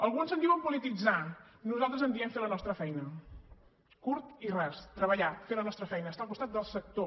alguns en diuen polititzar nosaltres en diem fer la nostra feina curt i ras treballar fer la nostra feina estar al costat del sector